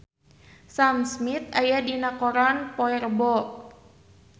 Sam Smith aya dina koran poe Rebo